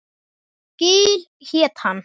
Gil hét hann.